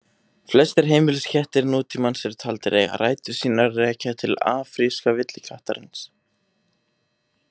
Flestir heimiliskettir nútímans eru taldir eiga rætur sínar að rekja til afríska villikattarins.